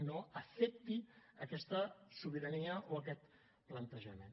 no afecti aquesta sobirania o aquest plantejament